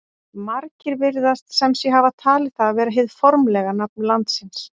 Margir virðast sem sé hafa talið það vera hið formlega nafn landsins.